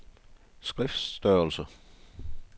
skriftstørrelse